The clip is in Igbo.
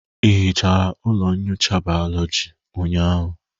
Ị hichara ụlọ nyocha bayoloji ụnyaahụ?